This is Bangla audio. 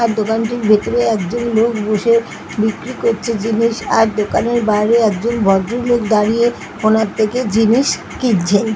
আর দোকানটির ভিতরে একজন লোক বসে বিক্রি করছে জিনিস। আর দোকানের বাইরে একজন ভদ্র লোক দাঁড়িয়ে কোনো একটা কি জিনিস কিনছে |.